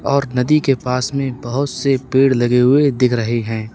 और नदी के पास में बहुत से पेड़ लगे हुए दिख रहे है।